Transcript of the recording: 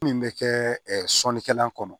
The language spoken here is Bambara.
Min bɛ kɛ sonikɛla kɔnɔ